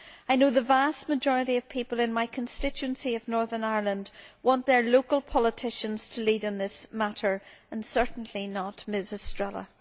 I know the vast majority of people in my constituency of Northern Ireland want their local politicians to lead in this matter and certainly not Ms Estrela.